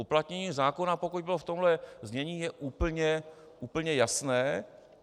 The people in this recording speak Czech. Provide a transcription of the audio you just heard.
Uplatnění zákona, pokud bylo v tomto znění, je úplně jasné.